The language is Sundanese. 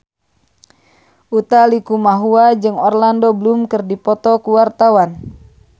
Utha Likumahua jeung Orlando Bloom keur dipoto ku wartawan